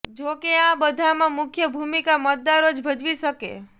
જો કે આ બધામાં મુખ્ય ભૂમિકા મતદારો જ ભજવી શકે